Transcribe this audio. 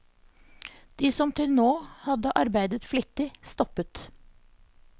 De som til nå hadde arbeidet flittig stoppet.